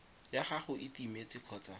ya gago e timetse kgotsa